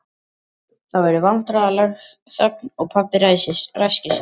Það verður vandræðaleg þögn og pabbi ræskir sig.